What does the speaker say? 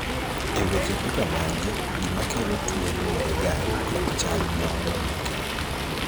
e weche kaka magi, gima kelo tuo luwore ga kod chal moro makende